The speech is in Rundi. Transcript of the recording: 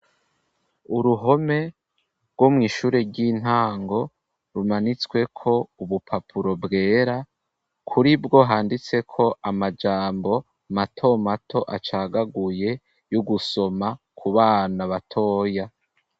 Uruhome rwo mw' ishure ry'intango rumanitsweko ubupapuro bwera kuribwo handitseko amajambo, mato mato acagaguye y'ugusoma ku bana batoya.